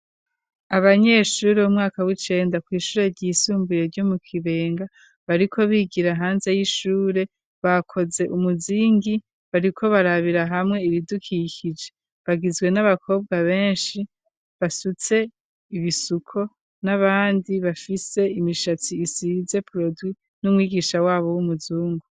Abanyeshuri b'mwaka w'icenda kw'ishure ryisumbuye ryo mu kibenga bariko bigira hanze y'ishure bakoze umuzingi bariko barabira hamwe ibidukikije bagizwe n'abakobwa benshi basutse ibisuko n'abandi bafise imishatsi isize prod n'umwigisha wabo w'umuzungu.